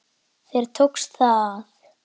Þér tókst það!